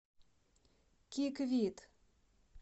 киквит